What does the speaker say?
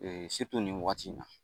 Ee nin wagati in na